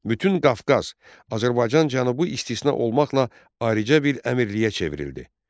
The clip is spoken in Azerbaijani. Bütün Qafqaz, Azərbaycan Cənubu istisna olmaqla ayrıca bir əmirliyə çevrildi.